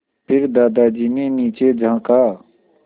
फिर दादाजी ने नीचे झाँका